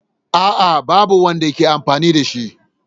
A'a, babu wanda ke amfani da shi.